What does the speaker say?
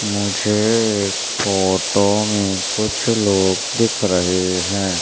मुझे फोटो में कुछ लोग दिख रहे हैं।